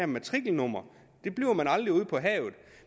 matrikelnummer ude på havet